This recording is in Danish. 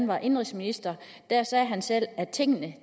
var indenrigsminister sagde han selv at tingene